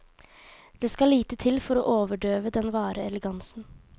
Det skal lite til for å overdøve den vare elegansen.